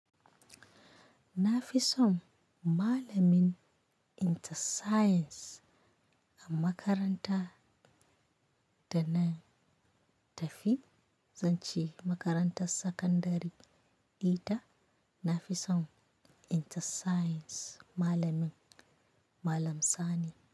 Na fi son malamin Inter Science a makaranta da na tafi, zan ce makarantar sakandare ita. Na fi son Inter Science malamin, Malam Sani.